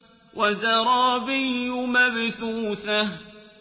وَزَرَابِيُّ مَبْثُوثَةٌ